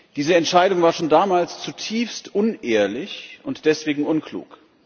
Diese Entscheidung war schon damals zutiefst unehrlich und deswegen unklug.